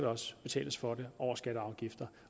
også betales for det over skatter og afgifter